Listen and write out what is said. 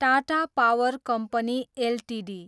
Tata power company Ltd